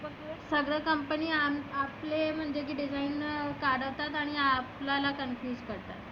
सगळ company आपले म्हणजे design काढतात आणि आपल्याला confuse करतात.